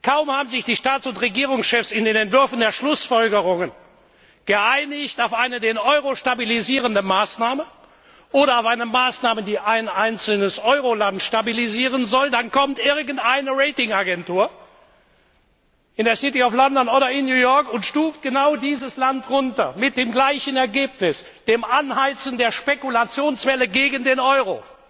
Kaum haben sich die Staats und Regierungschefs in den Entwürfen der Schlussfolgerungen auf eine den Euro stabilisierende Maßnahme oder auf eine Maßnahme, die ein einzelnes Euro Land stabilisieren soll, geeinigt, kommt irgendeine Rating Agentur in der City of London oder in New York und stuft genau dieses Land herab, was immer zum gleichen Ergebnis führt, nämlich zum Anheizen der Spekulationswelle gegen den Euro.